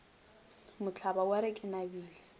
mohlaba wa re ke nabile